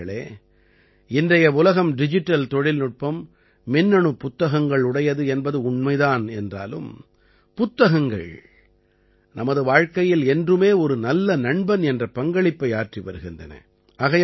நண்பர்களே இன்றைய உலகம் டிஜிட்டல் தொழில்நுட்பம் மின்னணுப் புத்தகங்களுடையது என்பது உண்மை தான் என்றாலும் புத்தகங்கள் நமது வாழ்க்கையில் என்றுமே ஒரு நல்ல நண்பன் என்ற பங்களிப்பை ஆற்றி வருகின்றன